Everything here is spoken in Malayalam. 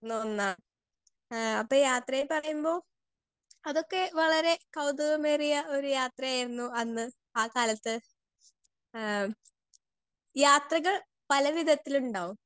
സ്പീക്കർ 2 ഒന്നാണ് എഹ് അപ്പൊ യാത്രയിൽ പറയുമ്പോ അതൊക്കെ വളരെ കൗതുകമേറിയ ഒരു യാത്രയായിരുന്നു അന്ന് ആ കാലത്ത് എഹ് യാത്രകൾ പല വിധത്തിലിണ്ടാവും